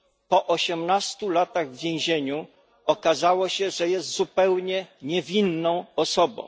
Po osiemnastu latach w więzieniu okazało się, że jest zupełnie niewinną osobą.